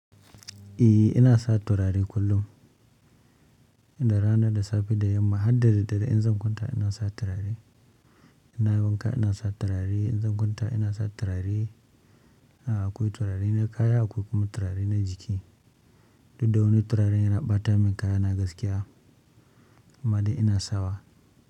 Eh ina sa turare kullum, inda rana da safe da yamma har da daddare in zan kwanta ina sa turare. In nayi wanka ina sa turare, in zan kwanta ina sa turare. A'a akwai turare na kaya akwai kuma turare na jiki. Duk da wani turaren yana ɓata min kaya na gaskiya amma dai ina sawa.